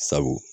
Sabu